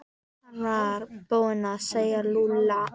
Hann var búinn að segja Lúlla og